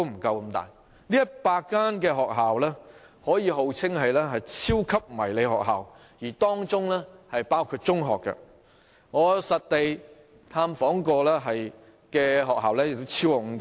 這100間學校可以號稱為超級迷你學校，而當中更包括中學，我實地探訪過的也超過5間。